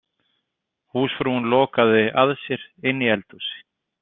Húsfrúin lokaði að sér inni í eldhúsi.